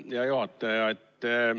Hea juhataja!